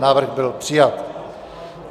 Návrh byl přijat.